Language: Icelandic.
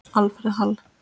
Alfreð Hall.